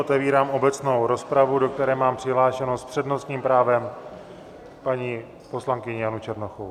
Otevírám obecnou rozpravu, do které mám přihlášenou s přednostním právem paní poslankyni Janu Černochovou.